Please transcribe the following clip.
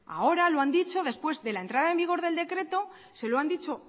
ahora lo han dicho después de la entrada en vigor del decreto se lo han dicho